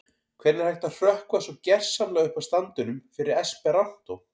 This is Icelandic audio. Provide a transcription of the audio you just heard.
Hvernig er hægt að hrökkva svo gersamlega upp af standinum fyrir esperantó?